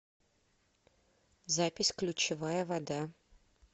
запись ключевая вода